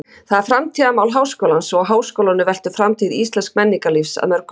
Það er framtíðarmál háskólans og á háskólanum veltur framtíð íslensks menningarlífs að mörgu leyti.